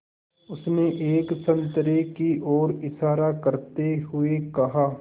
उसने एक संतरे की ओर इशारा करते हुए कहा